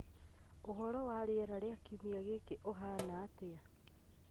Ũhoro wa rĩera rĩa kiumia gĩkĩ uhana atia